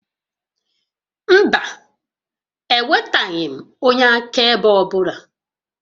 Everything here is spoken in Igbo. Mba, ewetaghị m onye akaebe ọ bụla